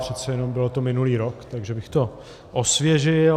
Přece jen to bylo minulý rok, takže bych to osvěžil.